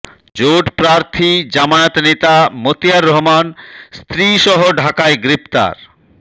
জোট প্রার্থী জামায়াত নেতা মতিয়ার রহমান স্ত্রীসহ ঢাকায় গ্রেপ্তার